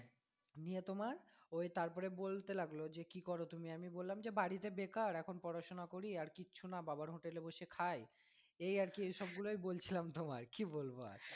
নিয়ে তোমার ওই তারপরে বলতে লাগলো যে কি করো তুমি আমি বললাম যে বাড়িতে বেকার এখন পড়াশোনা করি আর কিছু না বাবার hotel এ বসে খাই এই আর কি এই সবগুলোই বলছিলাম তোমায় কি বলবো আর।